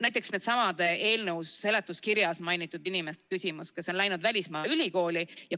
Näiteks, seesama eelnõu seletuskirjas mainitud inimeste küsimus, kes on läinud välismaal ülikooli.